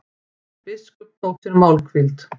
Biskup tók sér málhvíld.